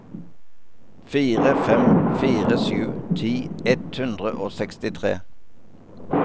fire fem fire sju ti ett hundre og sekstitre